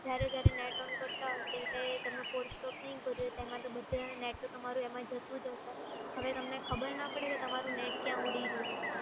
જ્યારે જ્યારે NET ON કરતાં હોય ત્યારે તમે forse stop નહીં કર્યું હોય એમાં net તો તમારું એમાં જતું જ હસે હવે તમને ખબર ના પડે કે તમારું net તમારું કયા ઊડી રહ્યું છે.